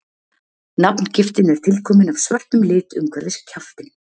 Nafngiftin er tilkomin af svörtum lit umhverfis kjaftinn.